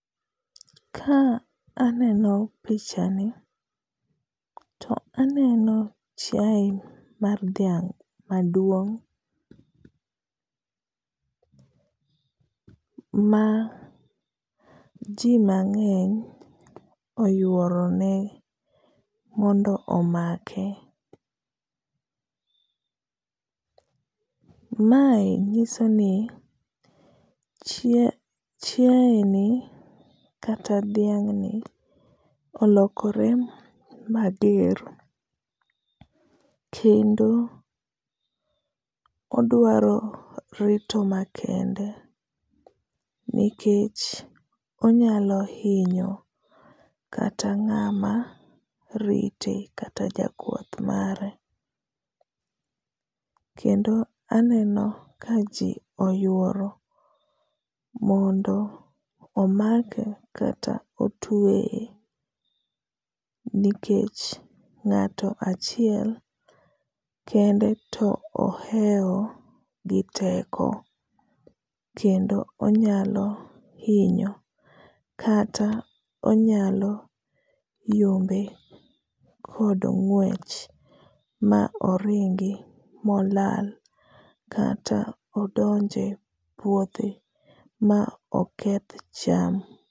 Ka aneno pichani to aneno chiae mar dhiang’ maduong’, ma ji mang’eny oyuoro ne mondo omake. Mae nyiso ni chiae ni kata dhiang’ ni, olokore mager kendo odwaro rito makende nikech onyalo hinyo kata ng’ama rite kata jakwath mare, kendo aneno ka ji oyuoro mondo omake kata otueye nikech ng’ato achiel kende to oheo gi teko kendo onyalo hinyo kata onyalo yombe kod ngwech ma oringi molal kata odonje puothe ma oketh cham.